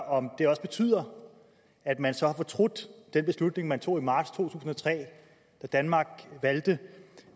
om det også betyder at man så har fortrudt den beslutning man tog i marts to tusind og tre da danmark